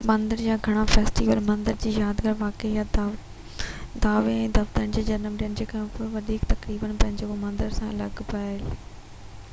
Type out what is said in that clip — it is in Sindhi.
مندر جا گهڻا فيسٽيول مندر جي يادگار واقعي يا ديوي ۽ ديوتائن جي جنم ڏينهن يا ٻي ڪا وڏي تقريب جيڪو مندر سان لاڳاپيل آهي